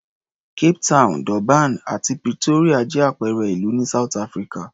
Cape Town, Durban àti Pretoria jẹ́ àpẹẹrẹ ìlú ní South Africa.